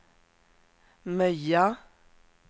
Möja